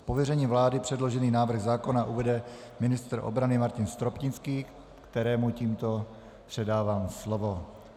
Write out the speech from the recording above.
Z pověření vlády předložený návrh zákona uvede ministr obrany Martin Stropnický, kterému tímto předávám slovo.